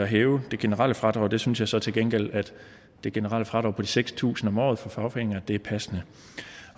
hæve det generelle fradrag og der synes jeg så til gengæld at det generelle fradrag på de seks tusind kroner om året for fagforeninger er passende